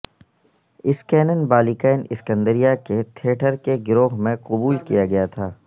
اسکینن بالکین اسکندریہ کے تھیٹر کے گروہ میں قبول کیا گیا تھا